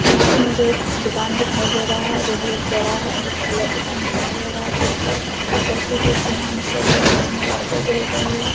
यहाँ भी मुझे एक दुकान दिखाई दे रहा है जो बहुत बड़ा है जो दुकान दिखाई दे रहा है देशी नाम से है जिसमें लाइटें जल रही हैं।